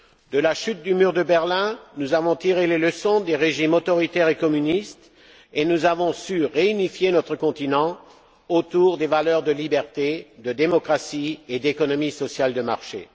De la chute du mur de Berlin, nous avons tiré les leçons des régimes autoritaires et communistes et nous avons su réunifier notre continent autour des valeurs de liberté, de démocratie et d'économie sociale de marché.